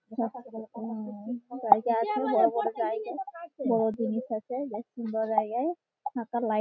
জায়গা আছে বড় বড় জায়গা বড় জিনিস আছে বেশ সুন্দর জায়গায়। ফাঁকা লাইট --